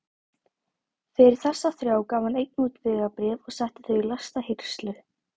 Fyrir þessa þrjá gaf hann einnig út vegabréf og setti þau í læsta hirslu.